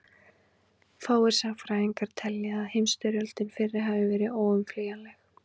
fáir sagnfræðingar telja að heimsstyrjöldin fyrri hafi verið óumflýjanleg